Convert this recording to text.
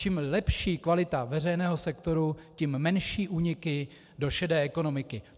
Čím lepší kvalita veřejného sektoru, tím menší úniky do šedé ekonomiky.